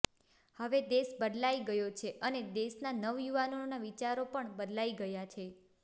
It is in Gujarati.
હવે દેશ બદલાઈ ગયો છે અને દેશના નવયુવાનોના વિચારો પણ બદલાઈ ગયા છે